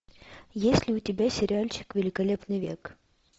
есть ли у тебя сериальчик великолепный век